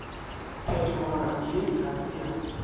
phetogo ye ga se ya